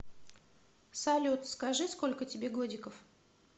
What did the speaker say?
салют скажи сколько тебе годиков